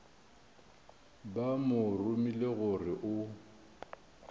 ba go romile gore o